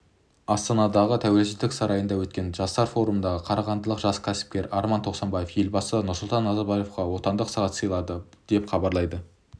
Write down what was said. астанадағы тәуелсіздік сарайында өткен жастар форумында қарағандылық жас кәсіпкер арман тоқсанбаев елбасы нұрсұлтан назарбаевқа отандық сағат сыйлады деп хабарлайды